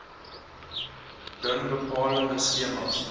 bring bepaalde skemas